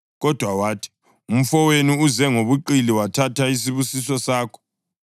Kodwa wathi, “Umfowenu uze ngobuqili wathatha isibusiso sakho.”